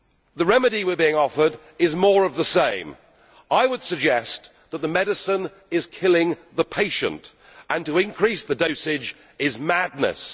The remedy we are being offered is more of the same. I would suggest that the medicine is killing the patient and to increase the dosage is madness.